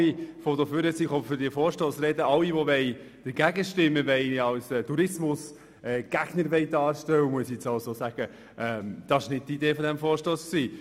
Aber nachdem ich nun all die Voten für diesen Vorstoss gehört habe, die alle Motionsgegner als Tourismusgegner darstellen wollen, muss ich sagen, das war wohl nicht die Idee dieses Vorstosses.